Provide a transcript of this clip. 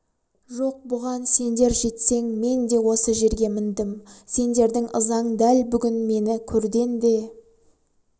жоқ бұған сендер жетсең мен де осы жерге міндім сендердің ызаң дәл бүгін мені көрден де